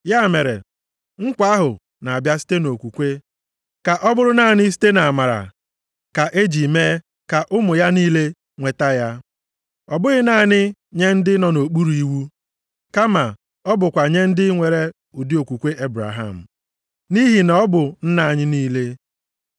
Ya mere, nkwa ahụ na-abịa site nʼokwukwe, ka ọ bụrụ naanị site nʼamara ka e ji mee ka ụmụ ya niile nweta ya, ọ bụghị naanị nye ndị nọ nʼokpuru iwu, kama ọ bụkwa nye ndị nwere ụdị okwukwe Ebraham. Nʼihi na ọ bụ nna anyị niile.